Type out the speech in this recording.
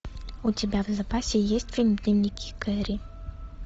у тебя в запасе есть фильм дневники кэрри